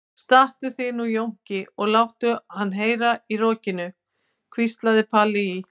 Stattu þig nú Jónki og láttu hann heyra í rokinu, hvíslaði Palli í